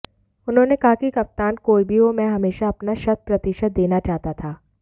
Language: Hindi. उन्होंने कहा कि कप्तान कोई भी हो मैं हमेशा अपना शत प्रतिशत देना चाहता था